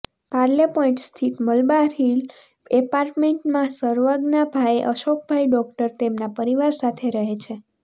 પાર્લેપોઇન્ટ સ્થિત મલબાર હીલ એપાર્ટમેન્ટમાં સર્વજ્ઞાભાઇ અશોકભાઇ ડોક્ટર તેમના પરિવાર સાથે રહે છે